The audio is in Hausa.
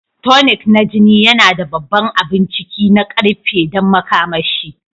Tonic na jini yana da babban abun ciki na ƙarfe don makamashi